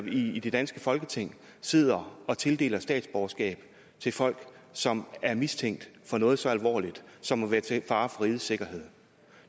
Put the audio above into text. i det danske folketing sidder og tildeler statsborgerskab til folk som er mistænkt for noget så alvorligt som at være til fare for rigets sikkerhed